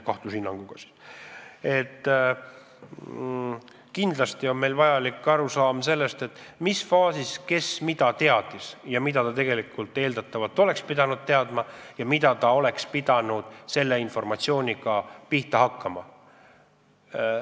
Kindlasti peab meil olema arusaam sellest, mis faasis kes mida teadis, mida eeldatavalt oleks pidanud teadma ja mida oleks pidanud selle informatsiooniga pihta hakkama.